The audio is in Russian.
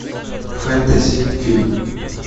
фэнтези фильм